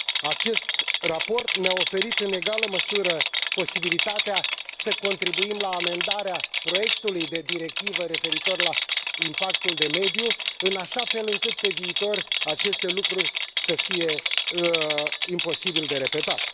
Acest raport ne a oferit, în egală măsură, posibilitatea să contribuim la amendarea proiectului de directivă referitor la impactul de mediu, în așa fel încât, pe viitor, aceste lucruri să fie imposibil de repetat.